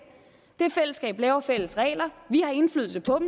det fællesskab laver fælles regler vi har indflydelse på